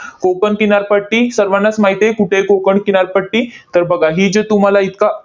कोकण किनारपट्टी, सर्वानाच माहित आहे कुठे आहे कोकण किनारपट्टी. तर बघा, ही जे तुम्हाला इतका